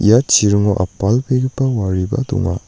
ia chiringo apalbegipa wariba donga.